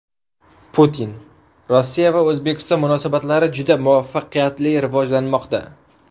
Putin: Rossiya va O‘zbekiston munosabatlari juda muvaffaqiyatli rivojlanmoqda.